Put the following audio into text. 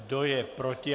Kdo je proti?